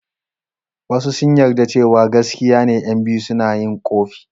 Wasu sun yarda cewa gaskiya ne ƴan biyu suna yin ƙofi.